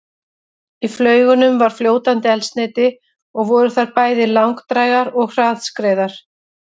Í flaugunum var fljótandi eldsneyti og voru þær bæði langdrægar og hraðskreiðar.